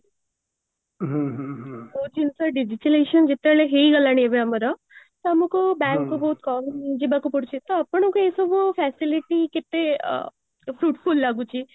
ବହୁ ଜିନିଷ digitalization ଯେତେବେଳେ ହେଇଗଲାଣି ଏବେ ଆମର ତ ଆମକୁ bank କୁ ବହୁତ କମ ଯିବାକୁ ପଡୁଚି ତ ଆପଣଙ୍କର ଏଇ ସବୁ facility କେତେ fruitful ଲାଗୁଚି